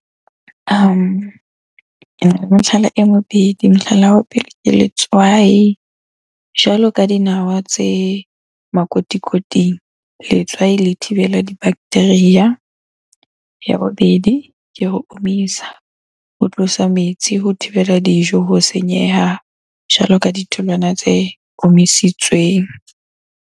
Kena le mehlala e mobedi. Mohlala wa pele ke letswai, jwalo ka dinawa tse makotikoting. Letswai le thibela di-bacteria. Ya bobedi ke ho omisa, ho tlosa metsi, ho thibela dijo ho senyeha jwalo ka ditholwana tse omisitsweng.